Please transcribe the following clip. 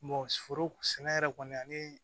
foro sɛnɛ yɛrɛ kɔni ani